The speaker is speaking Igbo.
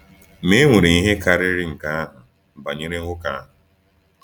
Ma e nwere ihe karịrị nke ahụ banyere nwoke ahụ.